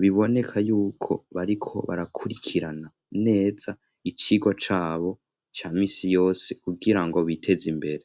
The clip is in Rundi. biboneka yuko bariko barakurikirana neza icigwa cabo cya misi yose kugira ngo biteze imbere